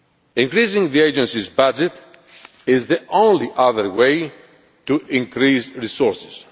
Increasing the agencies' budget is the only other way to increase resources.